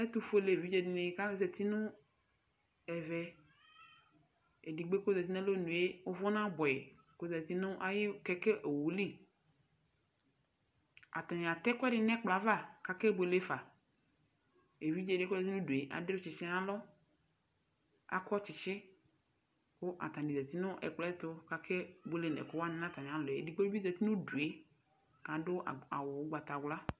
Ɛtʋƒuel'evidze dini kazati nu ɛvɛ, edigbo yɛ kɔzati nu alɔnue ʋvʋ na buɛ yi kɔzati nu ayʋ kɛkɛ owuli Atani atɛ ɛkʋɛdi n'ɛkpɔ yɛ ava kake bueleƒa Eviɖze di kozati nʋ udue adʋ tsitsi nalɔ, akɔ tsitsi kʋ atani zati nʋ ɛkplɔ yɛ ta kak'ebuele nʋ ɛkʋwani n'atamialɔ yɛ Edigbo bi zati n'udu yɛ kaɖʋ awʋ ɔgbatawla